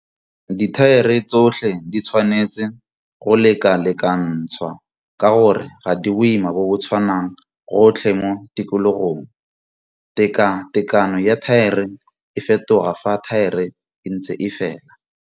Dithaere tsotlhe di tshwanetse go lekalekantshwa ka gore ga di boima bo bo tshwanang gotlhe mo tikologong. Tekatekano ya thaere e fetoga fa thaere e ntse e fela.